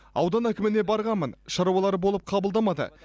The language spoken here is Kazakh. аудан әкіміне барғанмын шаруалары болып қабылдамады